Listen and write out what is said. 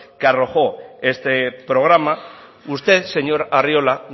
que arrojó este programa usted señor arriola